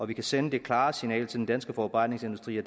vi kan sende det klare signal til den danske forarbejdningsindustri og